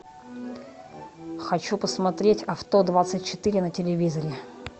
хочу посмотреть авто двадцать четыре на телевизоре